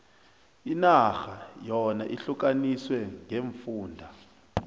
inarha yona ihlukaniswe ngeemfunda